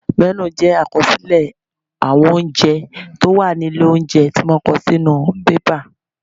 Mẹ́nù jẹ àkọsílẹ̀ àwọn oúnjẹ tí ó wà ní ilé óúnjẹ tí wọ́n kọ sí inú bébà